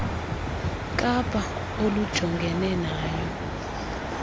kapa olujongene nayo